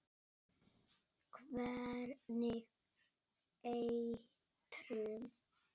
Hvernig eitrun?